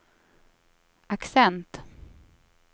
accent